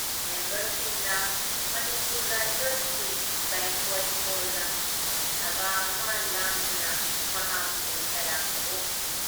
ꯃꯦꯝꯕꯔꯁꯤꯡꯅ ꯃꯅꯤꯄꯨꯔ ꯔꯥꯏꯐꯜꯁꯀꯤ ꯕꯦꯡꯀꯣꯏꯠ ꯍꯣꯜꯗ ꯁꯚꯥ ꯑꯃ ꯂꯥꯡꯗꯨꯅ ꯃꯍꯥꯛꯄꯨ ꯇꯔꯥꯝꯅ ꯑꯣꯛꯈꯤ ꯫